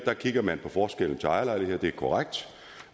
her kigger man på forskellen til ejerlejligheder det er korrekt